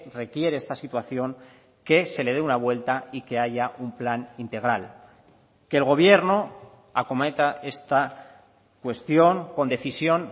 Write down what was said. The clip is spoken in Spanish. requiere esta situación que se le dé una vuelta y que haya un plan integral que el gobierno acometa esta cuestión con decisión